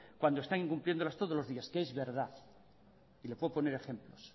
cuando está incumpliéndolas todos los días que es verdad y le puedo poner ejemplos